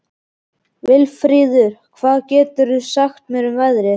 Vilfríður, hvað geturðu sagt mér um veðrið?